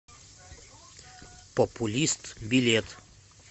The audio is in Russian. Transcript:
популист билет